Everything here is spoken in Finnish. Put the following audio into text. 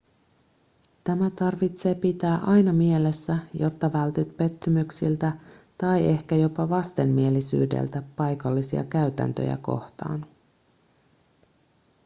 tämä tarvitsee pitää aina mielessä jotta vältyt pettymyksiltä tai ehkä jopa vastenmielisyydeltä paikallisia käytäntöjä kohtaan